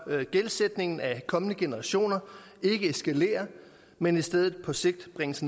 gældsætningen af kommende generationer ikke eskalerer men i stedet på sigt bringes